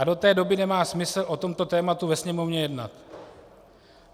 A do té doby nemá smysl o tomto tématu ve Sněmovně jednat.